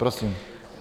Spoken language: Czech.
Prosím.